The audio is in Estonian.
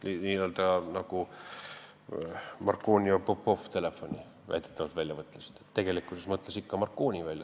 Nii nagu Marconi ja Popov raadio väidetavalt välja mõtlesid, kuid tegelikkuses mõtles ikka Marconi raadio välja.